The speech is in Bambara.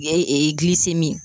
I ye ee gilisemi